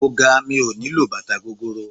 Mo ga mi ò nílò bàtà gogoro.